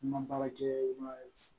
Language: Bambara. N ma baara kɛ n ma